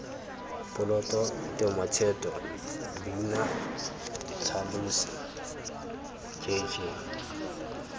poloto tematheto leina letlhalosi jj